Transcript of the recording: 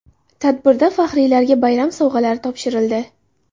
Tadbirda faxriylarga bayram sovg‘alari topshirildi.